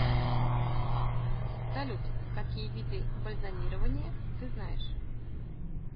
салют какие виды бальзамирование ты знаешь